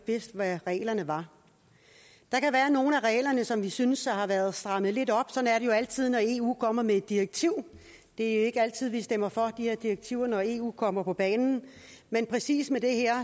vidst hvad reglerne var der kan være nogle af reglerne som vi synes har været strammet lidt op sådan er det jo altid når eu kommer med et direktiv det er ikke altid at vi stemmer for de her direktiver når eu kommer på banen men præcis med det her